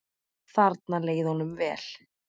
Þarna leið honum vel.